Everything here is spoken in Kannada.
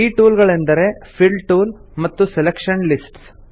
ಈ ಟೂಲ್ ಗಳೆಂದರೆ ಫಿಲ್ ಟೂಲ್ ಮತ್ತು ಸೆಲೆಕ್ಷನ್ ಲಿಸ್ಟ್ಸ್